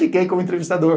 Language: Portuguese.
Fiquei como entrevistador.